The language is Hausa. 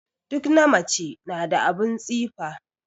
Duk na mace na da abun tsifa